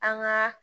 An ka